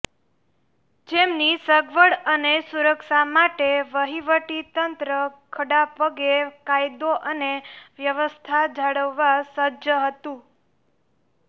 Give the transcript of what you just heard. જેમની સગવડ અને સુરક્ષા માટે વહીવટીતંત્ર ખડાપગે કાયદો અને વ્યવસ્થા જાળવવાં સજ્જ હતું